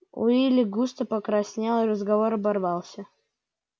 уилли густо покраснел и разговор оборвался